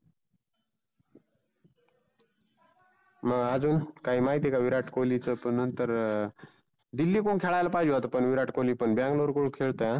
मग आजुन काही माहिती आहे का विराट कोल्हीच पण नंतर अं दिल्ली कडुन खेळायला पाहीजे होता पण विराट कोल्ही पण Bangalore कडुन खेळतोय हं.